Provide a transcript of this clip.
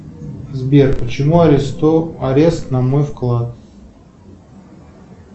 сбер почему арест на мой вклад